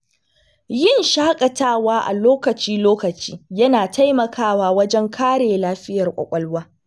Yin shaƙatawa a lokaci-lokaci yana taimakawa wajen kare lafiyar kwakwalwa.